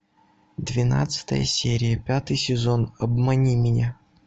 двенадцатая серия пятый сезон обмани меня